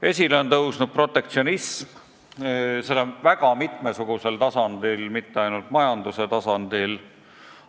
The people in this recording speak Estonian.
Esile on tõusnud protektsionism – seda väga mitmesugusel tasandil, mitte ainult majanduse tasandil.